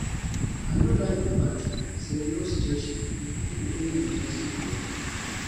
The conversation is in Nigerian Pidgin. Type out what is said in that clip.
I no like the fact say no station dey do any interesting program